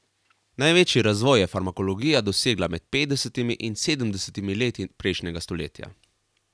Največji razvoj je farmakologija doživela med petdesetimi in sedemdesetimi leti prejšnjega stoletja.